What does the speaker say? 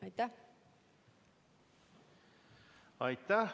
Aitäh!